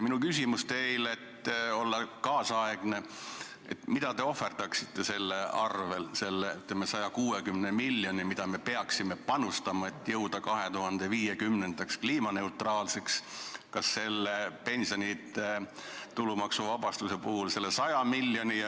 Minu küsimus teile, et olla nüüdisaegne, on see: mida te ohverdaksite selle 160 miljoni heaks, mida me peaksime panustama, et olla 2050. aastaks kliimaneutraalsed, kas selle pensionide tulumaksuvabastuse 100 miljonit?